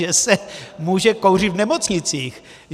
Že se může kouřit v nemocnicích.